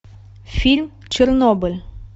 фильм чернобыль